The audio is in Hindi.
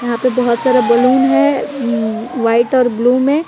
यहाँ पे बहुत सारा बैलून है अम व्हाइट और ब्लू में।